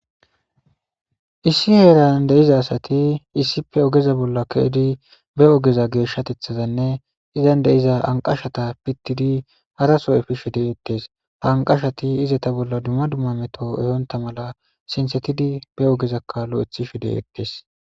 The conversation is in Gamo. Issi heeran deiza asati issippe ogeza bolla keedi be ogeza geeshshatethazanne izan deiza anqashata pittidi hara so efi she degettees haanqashati ize ta bolla dumma dumma meto ehonta mala sinsetidi be ogezakaalo ethi shi deettees.